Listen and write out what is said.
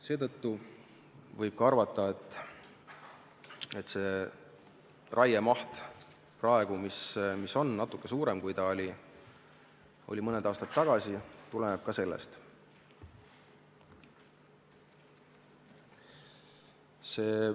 Seetõttu võib arvata, et praegune varasemast natuke suurem raiemaht tuleneb ka sellest.